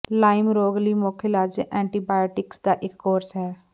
Lime ਰੋਗ ਲਈ ਮੁੱਖ ਇਲਾਜ ਐਂਟੀਬਾਇਓਟਿਕਸ ਦਾ ਇੱਕ ਕੋਰਸ ਹੈ